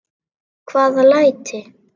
Hvaða læti?